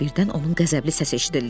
Birdən onun qəzəbli səsi eşidildi.